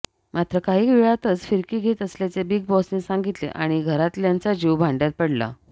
मात्र काही वेळातच फिरकी घेत असल्याचे बिग बॉसने सांगितले आणि घरातल्यांचा जीव भांड्यात पडला